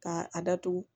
Ka a datugu